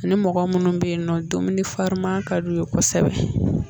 Ni mɔgɔ minnu bɛ yen nɔ dumuni farima ka diu ye kosɛbɛ